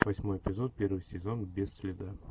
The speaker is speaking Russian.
восьмой эпизод первый сезон без следа